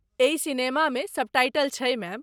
एहि सिनेमामे सबटाइटल छै मैम।